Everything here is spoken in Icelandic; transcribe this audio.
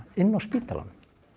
inni á spítalanum